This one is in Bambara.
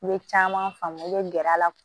N bɛ caman faamu i bɛ gɛrɛ a la